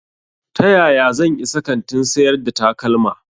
Ta yaya zan isa kantin sayar da takalma?